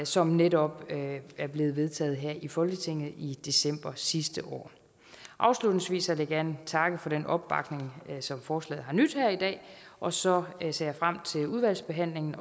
som netop er blevet vedtaget her i folketinget i december sidste år afslutningsvis vil jeg gerne takke for den opbakning som forslaget har nydt her i dag og så ser jeg frem til udvalgsbehandlingen